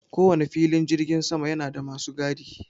Ko wane filin jirgin sama yana da masu gadi.